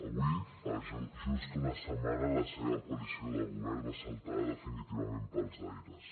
avui fa just una setmana la seva coalició de govern va saltar definitivament pels aires